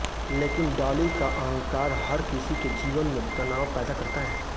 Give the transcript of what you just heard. लेकिन डॉली का अहंकार हर किसी के जीवन में तनाव पैदा करता है